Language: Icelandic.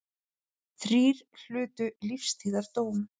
Þrír hlutu lífstíðardóm